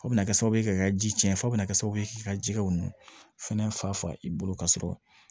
Fo bɛna kɛ sababu ye k'i ka ji cɛn fɔ k'i ka jɛgɛw nu fɛnɛ fa i bolo ka sɔrɔ